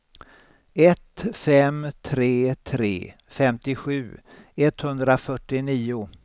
ett fem tre tre femtiosju etthundrafyrtionio